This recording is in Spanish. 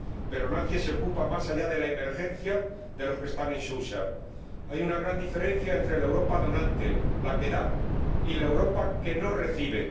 Pero nadie se ocupa, más allá de la emergencia, de los que están en Sousa. Hay una gran diferencia entre la Europa donante la que da y la Europa que no recibe.